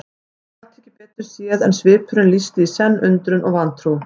Hann gat ekki betur séð en svipurinn lýsti í senn undrun og vantrú.